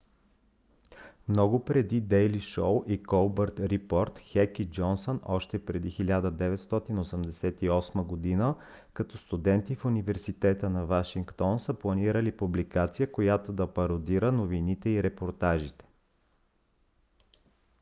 много преди дейли шоу и колбърт рипорт хек и джонсън още през 1988 г. като студенти в университета на вашингтон са планирали публикация която да пародира новините и репортажите